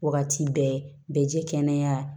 Wagati bɛɛ bɛ ji kɛnɛya